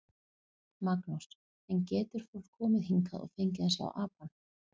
Magnús: En getur fólk komið hingað og fengið að sjá apann?